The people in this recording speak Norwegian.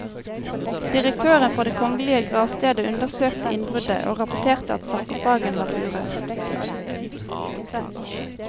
Direktøren for det kongelige gravstedet undersøkte innbruddet og rapporterte at sarkofagen var urørt.